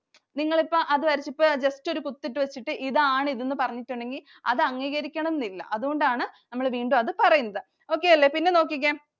നിങ്ങളിപ്പം അത് വരച്ചു. ഇപ്പം just ഒരു കുത്തിട്ടു വച്ചിട്ട് ഇതാണ് ഇത് എന്ന് പറഞ്ഞിട്ടുണ്ടെങ്കി അത് അംഗീകരിക്കണം എന്നില്ല. അതൂണ്ടാണ് നമ്മള് വീണ്ടും അത് പറയുന്നത്. Okay അല്ലേ. പിന്നെ നോക്കിക്കേ